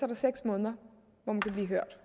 der seks måneder hvor man kan blive hørt